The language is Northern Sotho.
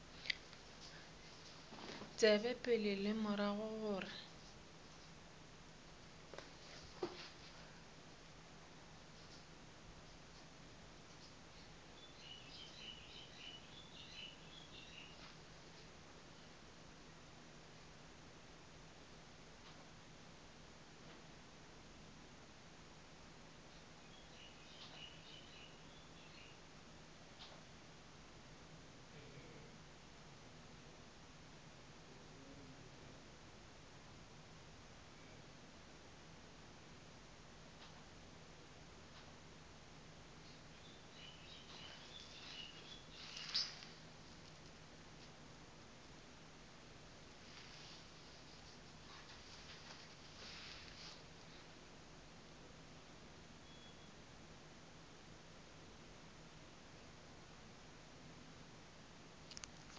tsebe pele le morago gore